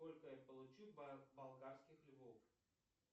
сколько я получу болгарских львов